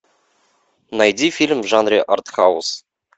найди фильм в жанре артхаус